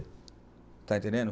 Está entendendo?